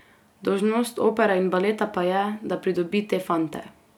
Dolžnost opere in baleta pa je, da pridobi te fante.